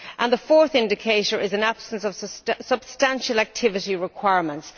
and the fourth indicator is an absence of substantial activity requirements.